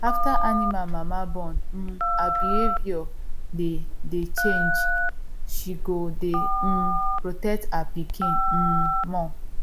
after animal mama born um her behavior dey dey change she go dey um protect her pikin um more